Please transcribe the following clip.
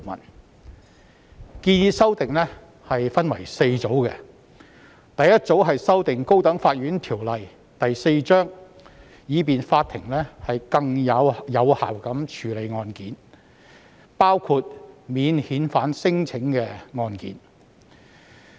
有關建議修訂分為4組，第一組修訂《高等法院條例》，以便法庭更有效地處理案件，包括免遣返聲請的案件。